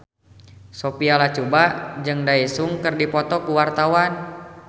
Sophia Latjuba jeung Daesung keur dipoto ku wartawan